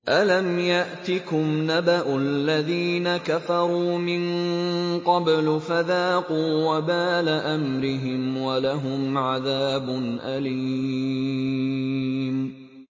أَلَمْ يَأْتِكُمْ نَبَأُ الَّذِينَ كَفَرُوا مِن قَبْلُ فَذَاقُوا وَبَالَ أَمْرِهِمْ وَلَهُمْ عَذَابٌ أَلِيمٌ